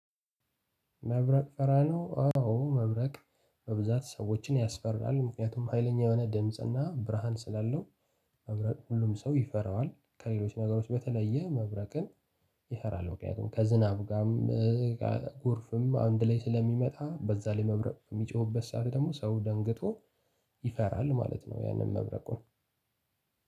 መብረቅ ፈራለሁ ነው አዎ መብረቅ በብዛት ሰዎችን ያስፈራል ምክንያቱም ሀይለኛ የሆነ ድምጽና ብርሃን ስላለው። ሁሉም ሰው ይፈራዋል ከሌሎች ነገሮች በተለየ መብረቅን ይፈራል። ምክንያቱም ከዝናቡ ጋርም ጎርፍም አንድ ላይ ስለሚመጣ በዛ ላይ መብረቅ የሚጮህበት ሰዓት ደግሞ ሰው ደንግጦ ይፈራል ማለት ነው። ያንን መብረቁን